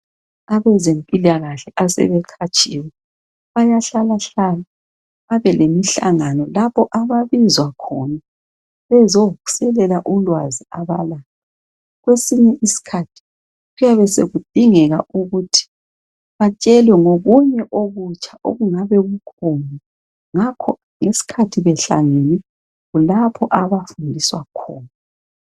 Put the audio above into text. Abezempilakahle asebeqhatshiwe bayahlalahlala babelemihlangano lapho ababizwa khona bezosekela ulwazi abalalo. Kwesinye isikhathi kuyabe sekudingeka ukuthi batshelwe ngokuthi batshelwe ngokunye okutsha okungabe kukhona. Ngakho ngesikhathi behlangene kulapho abafundiswa khona.